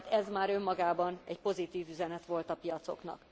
Tehát ez már önmagában egy pozitív üzenet volt a piacoknak.